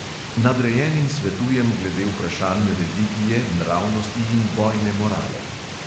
Nadrejenim svetujem glede vprašanj religije, nravnosti in bojne morale.